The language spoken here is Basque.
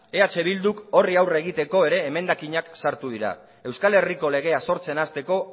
eh bilduk horri aurre egiteko ere emendakinak sartu ditu euskal herriko legea sortzen hasteko